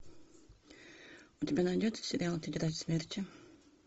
у тебя найдется сериал тетрадь смерти